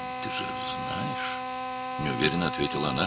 "Yaxşı, sən bilirsən," - o, tərəddüdlə cavab verdi.